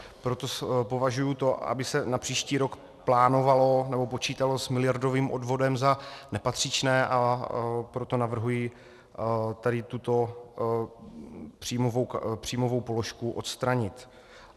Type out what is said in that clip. Proto považuji to, aby se na příští rok plánovalo nebo počítalo s miliardovým odvodem, za nepatřičné, a proto navrhuji tady tuto příjmovou položku odstranit.